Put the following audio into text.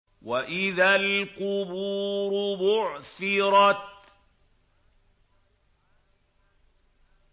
وَإِذَا الْقُبُورُ بُعْثِرَتْ